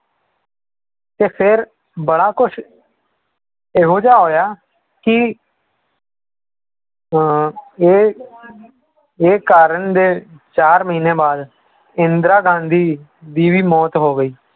ਤੇ ਫਿਰ ਬੜਾ ਕੁਛ ਇਹੋ ਜਿਹਾ ਹੋਇਆ ਕਿ ਅਹ ਇਹ ਇਹ ਕਰਨ ਦੇ ਚਾਰ ਮਹੀਨੇ ਬਾਅਦ ਇੰਦਰਾ ਗਾਂਧੀ ਦੀ ਵੀ ਮੌਤ ਹੋ ਗਈ।